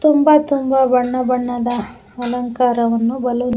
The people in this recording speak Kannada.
ತುಂಬಾ ತುಂಬಾ ಬಣ್ಣ ಬಣ್ಣದ ಅಲಂಕಾರವನ್ನು ಬಲುನ್ --